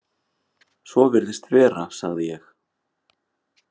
Svo virðist vera, sagði ég.